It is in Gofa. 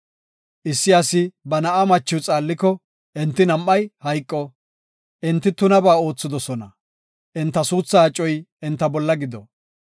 Issi asi ba na7aa machiw xaalliko, enti nam7ay hayqo. Enti tunabaa oothidosona; enta suuthaa acoy enta bolla gido.